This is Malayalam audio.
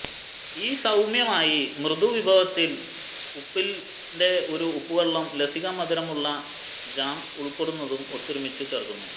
ഈ സൌമ്യമായി മൃദു വിഭവത്തിൽ ഉപ്പിന്റെ ഒരു ഉപ്പുവെള്ളവും ലസിക മധുരമുള്ള ജാം ഉൾക്കൊള്ളുന്നതും ഒത്തൊരുമിച്ച് ചേർക്കുന്നു